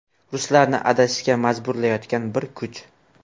Ruslarni adashishga majburlayotgan bir kuch.